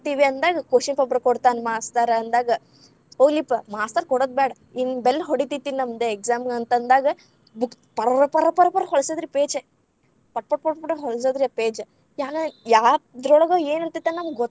ಅಂದಾಗ question paper ‌ಕೊಡ್ತಾನ master ಅಂದಾಗ ಹೋಗ್ಲಿಪ್ಪಾ ಮಾಸ್ತರ ಕೊಡೊದ್ಬೇಡಾ ಇನ್‌ bell ಹೊಡಿತೇತಿ ನಮ್ದ್ exam ದು ಅಂತ ಅಂದಾಗ books ಪರ್‌ ಪರ್‌ ಪರ್‌ ಹೋಳಸೋದ್ರಿ page ಪಟ್‌ ಪಟ್‌ ಪಟ್‌ ಹೋಳಸೋದ್ರಿ ಆ page ಯಾಕಂದ್ರ ಯಾದ್ರೋಳಗ್‌ ಏನ್‌ ಇರ್ತೇತಂತ ಗೋತ್ತೇ.